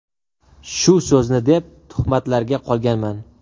Shu so‘zni deb tuhmatlarga qolganman.